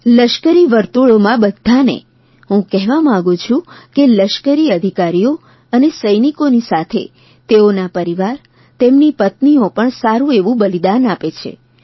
લશ્કરી વર્તુળોમાં બધ્ધાંને હું કહેવા માંગું છે કે લશ્કરી અધિકારીઓ અને સૈનિકોની સાથે તેઓના પરિવાર તેમની પત્નીઓ પણ સારૂં એવું બલિદાન આપે છે